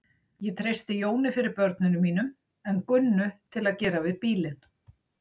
Ég treysti Jóni fyrir börnunum mínum en Gunnu til að gera við bílinn.